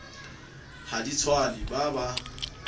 ha di tswane ba ba